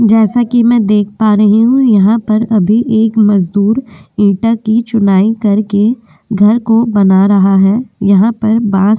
जैसा कि मैं देख पा रही हूं यहाँ पर अभी एक मजदूर ईटा की चुनाई करके घर को बना रहा है। यहाँ पर बांस --